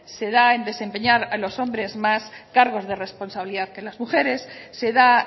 se da en desempeñar a los hombres más cargos de responsabilidad que las mujeres se da